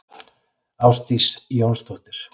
Ásdís Jónsdóttir.